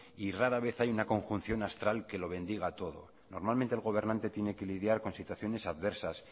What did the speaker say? y rara vez hay una conjunción astral que lo bendiga todo normalmente el gobernante tiene que lidiar con situaciones adversas